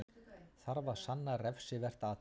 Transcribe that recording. Þarf að sanna refsivert athæfi